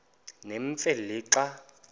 nemfe le xa